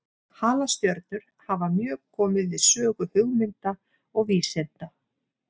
Halastjörnur hafa mjög komið við sögu hugmynda og vísinda.